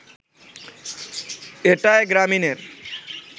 এটায় গ্রামীণের